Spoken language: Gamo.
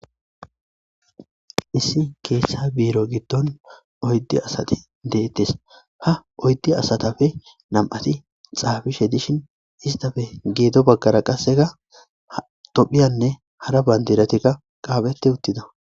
Issi geshsha biro giddoni oyidu asati deteesi ha oyidu asatappe namati xaafishe dishshin isitappe gedo bagara qasekka tophphiyanne hara banidiratikka qaphpheti utida